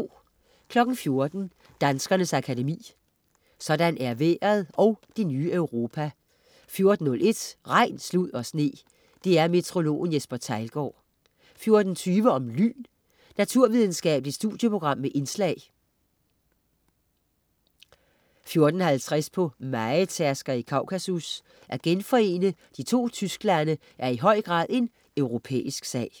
14.00 Danskernes Akademi. Sådan er vejret & Det ny Europa 14.01 Regn, slud og sne. DR-meteorologen Jesper Theilgaard 14.20 Om lyn. Naturvidenskabeligt studieprogram med indslag 14.50 På mejetærsker i Kaukasus. At genforene de to Tysklande er i høj grad en europæisk sag